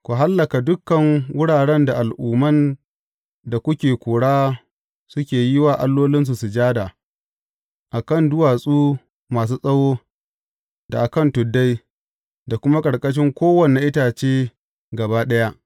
Ku hallaka dukan wuraren da al’umman da kuke kora suke yi wa allolinsu sujada, a kan duwatsu masu tsawo, da a kan tuddai, da kuma ƙarƙashin kowane itace gaba ɗaya.